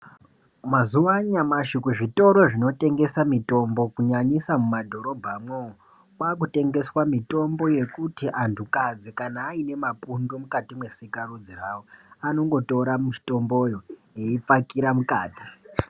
Mazuva anyamashi kuzvitoro zvinotengesa mitombo kunyanyisa mumadhorobhamwo kwakutengeswa mitombo yekuti antu kadzi kana aita ine mapundu mukati mesika rudzi rawo anotora mitombo eipfakira mukati.